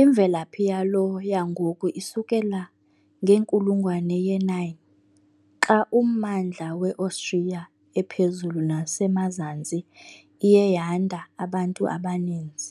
imvelaphi yalo yangoku isukela ngenkulungwane ye-9, xa ummandla weOstriya ePhezulu neseMazantsi iye yanda abantu abaninzi.